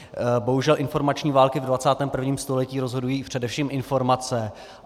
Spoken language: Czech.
Bohužel informační války ve 21. století rozhodují především informace.